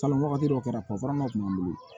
Kalan wagati dɔ kɛra kun b'an bolo